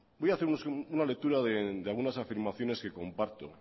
voy a hacer una lectura de algunas afirmaciones que comparto